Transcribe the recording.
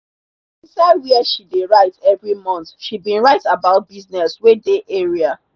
inside where she dey write every month she bin write about business wey dey area